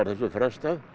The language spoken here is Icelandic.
frestað